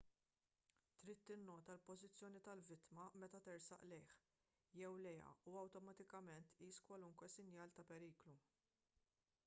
trid tinnota l-pożizzjoni tal-vittma meta tersaq lejh jew lejha u awtomatikament tqis kwalunkwe sinjal ta' periklu